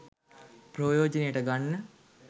ප්‍රයෝජනයට ගන්න